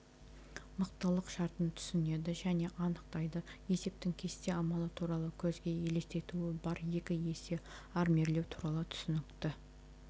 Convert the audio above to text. мықтылық шартын түсінеді және анықтайды есептің кесте амалы туралы көзге елестетуі бар екі есе армирлеу туралы түсінікті